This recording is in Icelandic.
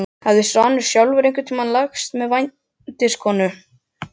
Hafði Svanur sjálfur einhvern tíma lagst með vændiskonu?